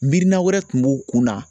Miirina wɛrɛ tun b'o kunna